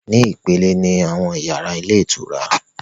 Ni ìpele ni àwọn yàrá ilé ìtura